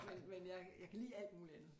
Men men jeg jeg kan lide alt muligt andet